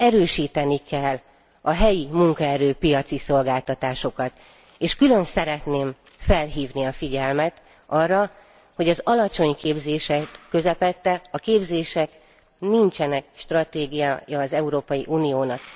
Erősíteni kell a helyi munkaerő piaci szolgáltatásokat, és külön szeretném felhívni a figyelmet arra, hogy az alacsony képzések közepette a képzésekre nincsen stratégiája az Európai Uniónak.